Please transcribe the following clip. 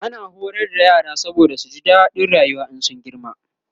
ana horar da yara saboda su ji dadin rayuwa in sun girma